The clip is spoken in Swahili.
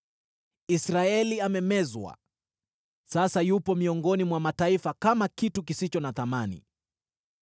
Israeli amemezwa; sasa yupo miongoni mwa mataifa kama kitu kisicho na thamani.